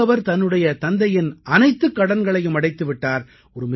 இப்போது அவர் தன்னுடைய தந்தையின் அனைத்துக் கடன்களையும் அடைத்து விட்டார்